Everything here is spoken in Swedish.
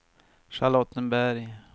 Charlottenberg